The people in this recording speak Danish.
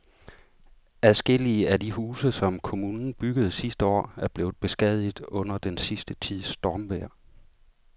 Adskillige af de huse, som kommunen byggede sidste år, er blevet beskadiget under den sidste tids stormvejr.